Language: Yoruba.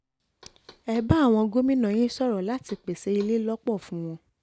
ẹ bá àwọn gómìnà yín sọ̀rọ̀ láti pèsè ilé lọ́pọ̀ fún wọn